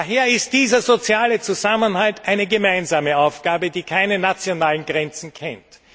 Daher ist dieser soziale Zusammenhalt eine gemeinsame Aufgabe, die keine nationalen Grenzen kennt.